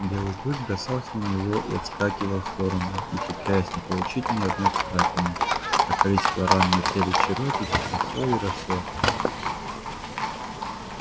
белый клык бросался на него и отскакивал в сторону ухитряясь не получить ни одной царапины а количество ран на теле чероки все росло и росло